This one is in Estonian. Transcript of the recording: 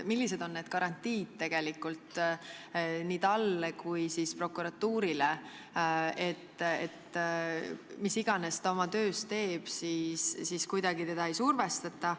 Millised on garantiid nii talle kui ka prokuratuurile, et mis iganes ta oma töös ka ei tee, teda kuidagi ei survestata?